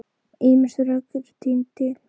Ýmis rök eru tínd til.